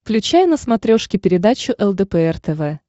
включай на смотрешке передачу лдпр тв